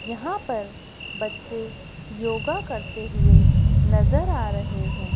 यहाँ पर बच्चे योगा करते हुए नजर आ रहे हैं।